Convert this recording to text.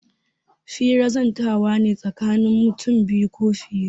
Hira zantawa ne tsakanin mutum biyu ko fiye.